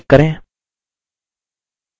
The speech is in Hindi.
पेज पर click करें